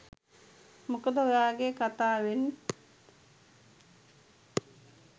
මොකද ඔයාගේ කතාවෙන්